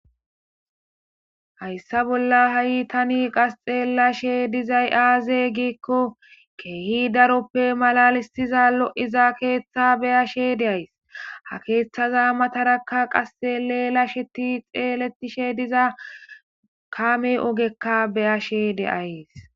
hayssa bolla ha7itani qas xeelashe dizay aaze giikko keehi daroppe malalisiza lo7iza keeththa beyashe deays ha keeththaza matarakka qasxeleelasheti xeeletishe diza kame ogekka beyashe deays